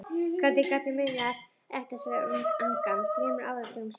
Hvernig gat ég munað eftir þessari angan þremur áratugum síðar?